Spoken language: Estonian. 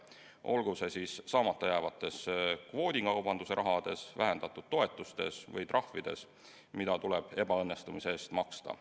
Olgu see siis saamata jäävas kvoodikaubanduse rahas, vähendatud toetustes või trahvides, mida tuleb ebaõnnestumise eest maksta.